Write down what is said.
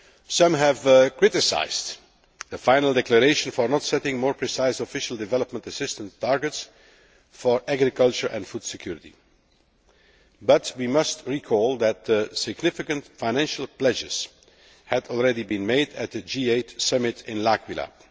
Some have criticised the final declaration for not setting more precise official development assistance targets for agriculture and food security, but we must recall that significant financial pledges had already been made at the G8 Summit in L'Aquila.